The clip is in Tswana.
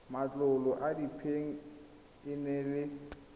matlolo a diphen ene le